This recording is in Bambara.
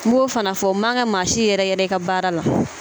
M'o fana fɔ o man kan ka maa si yɛrɛ yɛrɛ i ka baara la.